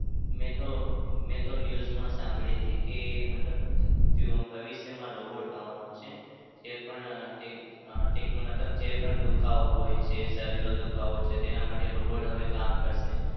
મેં તો મેં તો news માં સાંભળી હતી કે મતલબ ભવિષ્યમાં robot આવાનો છે. જે પણ મતલબ જે પણ દુખાવો હોય છે શરીરનો દુખાવો છે તેના માટે robot હવે કામ કરશે.